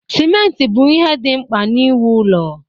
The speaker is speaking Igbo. Simenti bụ ihe dị mkpa na-ewu ụlọ